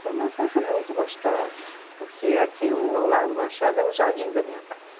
Foi uma infância muito gostosa, porque aqui o, o Largo do Machado é o jardim da minha casa.